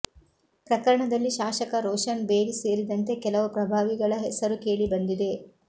ಪ್ರಕರಣದಲ್ಲಿ ಶಾಸಕ ರೋಷನ್ ಬೇಗ್ ಸೇರಿದಂತೆ ಕೆಲವು ಪ್ರಭಾವಿಗಳ ಹೆಸರು ಕೇಳಿಬಂದಿದೆ